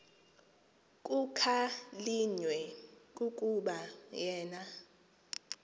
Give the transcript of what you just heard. kukhalinywe kukuba yena